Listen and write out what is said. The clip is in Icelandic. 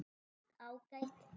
Allt ágætt.